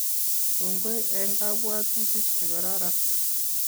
Kongoi eng kabwatutik chegororon